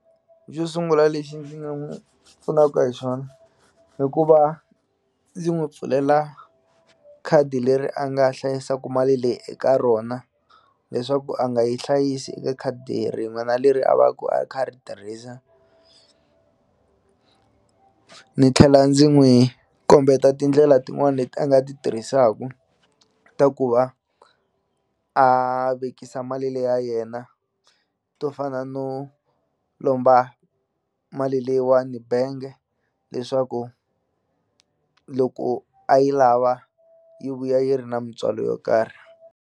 Xo sungula lexi ndzi nga n'wu pfunaka hi xona i ku va ndzi n'wi pfulela khadi leri a nga hlayisaku mali leyi eka rona leswaku a nga yi hlayisi eka khadi rin'wana leri a va ku a kha a ri tirhisa ni tlhela ndzi n'wi kombeta tindlela tin'wani leti a nga ti tirhisaku ta ku va a vekisa mali leyi ya yena to fana no lomba mali leyiwani benge leswaku loko a yi lava yi vuya yi ri na mintswalo yo karhi.